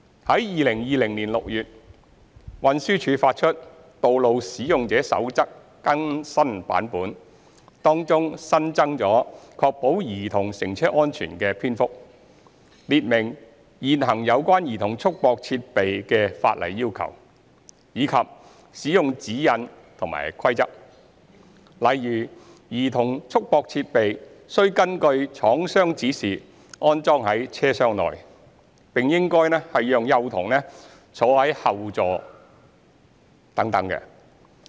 於2020年6月，運輸署發出《道路使用者守則》更新版本，當中新增"確保兒童乘車安全"的篇幅，列明現行有關兒童束縛設備的法例要求，以及使用指引和規則，例如兒童束縛設備須根據廠商指示安裝於車廂內，並應讓幼童坐在後座上等。